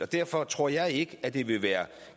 derfor tror jeg ikke at det vil være